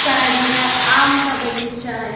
Side में आम का बगीचा है।